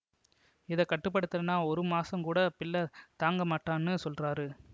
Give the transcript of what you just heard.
இத கட்டு படுத்தலன்னா ஒரு மாசம் கூட பிள்ள தாங்கமாட்டான்னு சொல்றாரு